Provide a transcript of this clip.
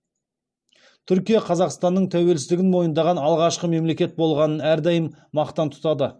түркия қазақстанның тәуелсіздігін мойындаған алғашқы мемлекет болғанын әрдайым мақтан тұтады